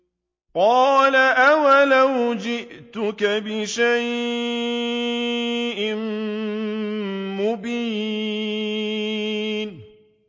قَالَ أَوَلَوْ جِئْتُكَ بِشَيْءٍ مُّبِينٍ